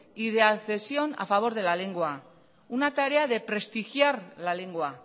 y de accesión a favor de la lengua una tarea de prestigiar la lengua